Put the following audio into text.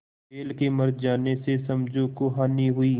बैल के मर जाने से समझू को हानि हुई